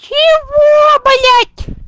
чего блять